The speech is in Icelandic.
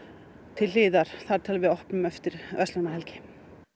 til hliðar þar til við opnum eftir verslunarmannahelgi